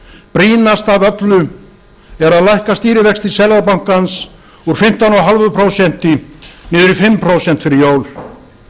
brýnast af öllu er að lækka stýrivexti seðlabankans úr fimmtán og hálft prósent niður í fimm prósent fyrir jól